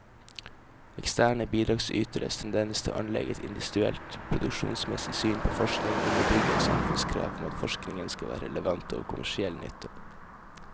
Eksterne bidragsyteres tendens til å anlegge et industrielt produksjonsmessig syn på forskning underbygger samfunnskrav om at forskningen skal være relevant og av kommersiell nytte.